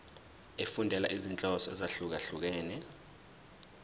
efundela izinhloso ezahlukehlukene